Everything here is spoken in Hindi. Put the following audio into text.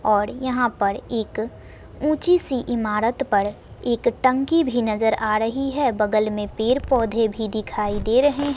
और यहां पर एक ऊंची सी इमारत पर एक टंकी भी नजर आ रही है बगल में पेड़ पौधे भी दिखाई दे रहे हैं।